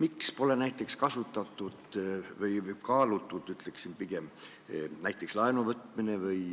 Miks pole kasutatud – või kaalutud, ütleksin pigem – näiteks laenu võtmist või